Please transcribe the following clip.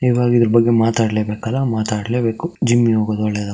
ಈವಾಗ್ ಇಲ್ ಬಂದು ಮಾತಾಡ್ಲೆ ಬೇಕ ಮಾತಾಡ್ಲೆ ಬೇಕು ಜಿಮ್ ಗಿಮ ಒಳಗೆ